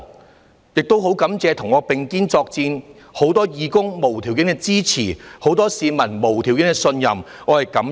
我亦感謝與我並肩作戰的多位義工，他們無條件的支持，以及市民無條件的信任，對此我是感恩的。